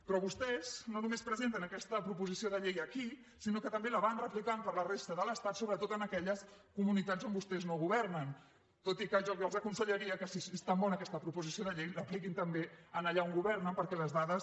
però vostès no només presenten aquesta proposició de llei aquí sinó que també la van replicant per la resta de l’estat sobretot en aquelles comunitats on vostès no governen tot i que jo els aconsellaria que si és tan bona aquesta proposició de llei l’apliquin també allà on governen perquè les dades